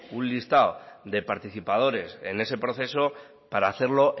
un listado de participadores en ese proceso para hacerlo